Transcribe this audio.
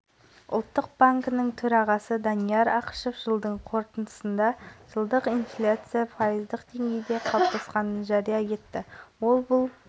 универсиада эстафетасының алауын соңғы мәре наурыз алаңына дейін қазақтың күміс қызы олимпиада ойындарында топ жарған зілмтемірші қызымыз жазира жаппарқұл жеткізеді